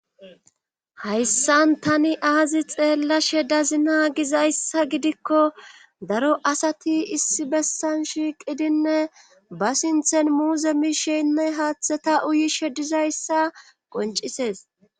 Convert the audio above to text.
Hayssan tani aazi xeellashe dazina gizayssa gidikko daro asati issi bessan shiiqidinne ba sinthen muuze miishenne haaththeta uyishe dizayssa qoncisees.